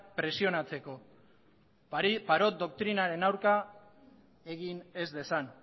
presionatzeko parot doktrinaren aurka egin ez dezan